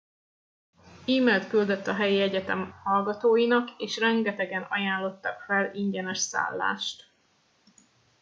e mailt küldött a helyi egyetem hallgatóinak és rengetegen ajánlottak fel ingyenes szállást